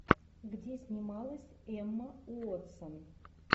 где снималась эмма уотсон